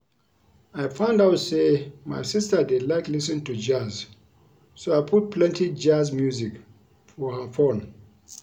I find out say my sister dey like lis ten to Jazz so I put plenty jazz music for her phone